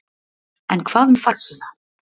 En hvað um farsíma?